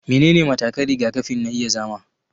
Menene matakan rigakafi na iya zama